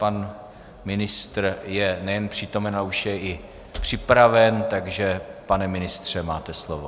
Pan ministr je nejen přítomen, ale už je i připraven, takže pane ministře, máte slovo.